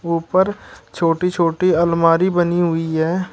ऊपर छोटी छोटी अलमारी बनी हुई है।